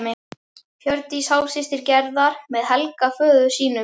Hjördís hálfsystir Gerðar með Helga föður sínum.